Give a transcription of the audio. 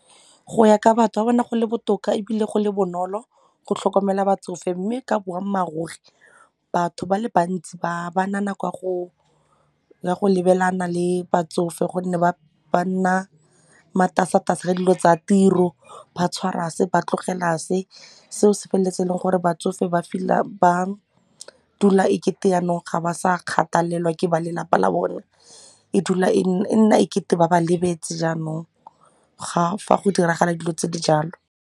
Go ya ka batho ba bona go le botoka ebile go le bonolo go tlhokomela batsofe mme ka boammaaruri batho ba le bantsi ga ba na nako ya go lebelana le batsofe gonne ba nna matasatasa ka dilo tsa tiro, ba tshwara se ba tlogela se. Seo se feleletse e leng gore batsofe ba dula e kete yanong ga ba sa kgathalelwa ke ba lelapa la bone e dula e e nna e kete ba ba lebetse jaanong ga fa go diragala dilo tse di jalo.